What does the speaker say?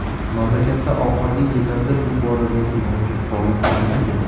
Mamlakatda oxirgi yillarda bu boradagi mavjud holat qanday edi?